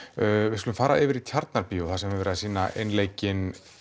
við skulum fara yfir í Tjarnarbíó þar sem er verið að sýna einleikinn